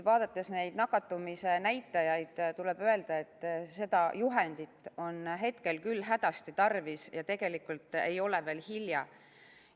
Vaadates nakatumise näitajaid, tuleb öelda, et seda juhendit on hetkel küll hädasti tarvis ja tegelikult ei ole veel hilja.